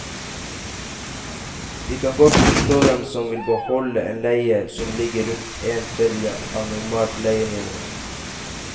Vi kan godt forstå dem som vil beholde en leie som ligger rundt en tredjedel av normalt leienivå.